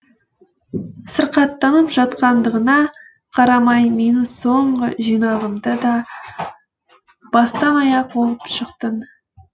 сырқаттанып жатқандығыңа қарамай менің соңғы жинағымды да бастан аяқ оқып шықтың